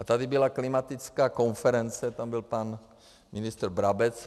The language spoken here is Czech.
A tady byla klimatická konference, tam byl pan ministr Brabec.